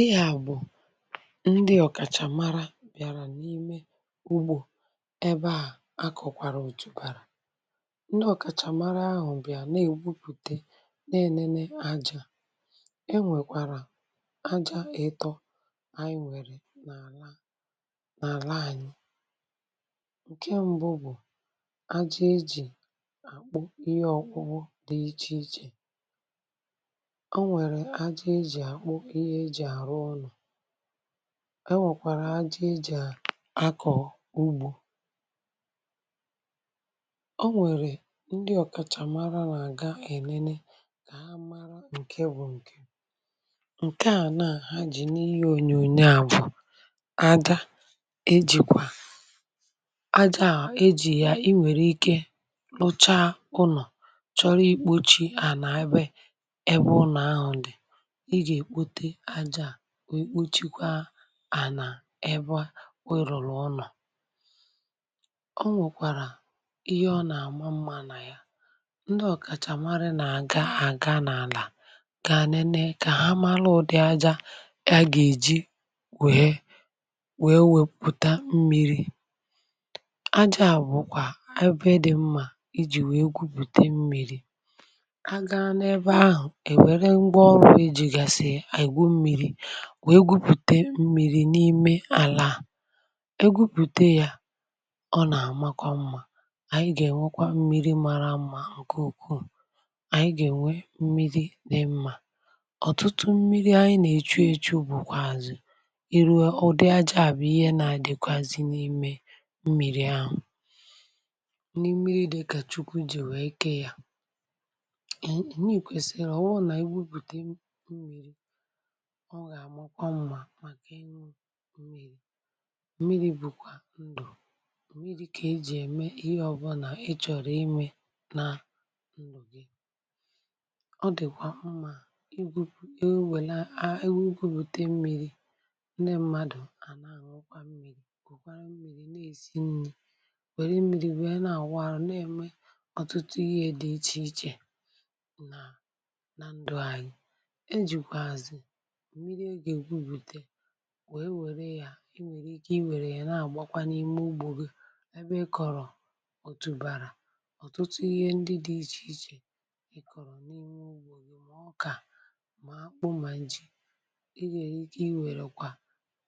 ihe a bu ndi okachamara biara n'ime ugbo ebe a akokwara otu bara ndi okamara ahu biara na egwupute na enene aja e nwekwara aja ito anti nwere n'ala n'ala anyi nke mbu bu aja eji akpu ihe okpukpu di iche iche enwere aja eji akpu ihe eji aru ulo e nwekwara aka e ji ako ugbo o nwere ndi okachamara na aga enene ka ha mara nke bu nke nkea na-ha ji n'ihe onyonyo a bu aja ejikwa aja a eji ya inwere ike i ji ya ruchaa ulo choro ikpochi ala ebe ebe ulo ahu di i ga ekpote aja a wee kpochikwa ala ebe I ruru ulo o nwekwara ihe o na ama mma na ya ndi okachamara n'aga aga na ala ka ha nene ka ha malu udi aja he ha eji wee wee weputa mmiri aja a bukwa ebe di mma iji wee gwuputa mmiri a ga n'ebe ahu ewere ngwa oru ejigasi egwu mmiri wee gwupute mmiri n'ime ala egwupute ya o na amakwa mma anyi ga enwekwa mmiri mara mma nke ukwuu anyi ga enwe mmiri di mma. Otutu mmiri anyi na echi echu bukwazi iruo udi aja a bu ihe na adikwazi n'ime mmiri ahu. Mmiri di ka chukwu si wee kee ya. Mmiri kwesiri oburu n'anyi gwupute mmiri o ga amakwa mma maka inu mmiri Mmiri bukwa ndu mmiri ka eji eme ihe obuna ichoro ime na ndu gi. Odikwa mma egwupute mmiri ndi mmadu a na anukwa mmiri kukwara mmiri n'esi nri were mmiri wee na awu aru n'eme otutu ihe di iche iche na ndi anyi. Ejikwazi mmiri a ga egwupute na wee were ya inwere Ike i were ya na agba kwa n'ime ugbo gi ebe ikoro otu bara n'otutu ihe ndi di iche iche ikoro n'ime ugbo gi ma oka ma akpu ma ji. I nwere Ike iwere kwa